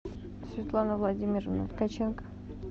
светлана владимировна ткаченко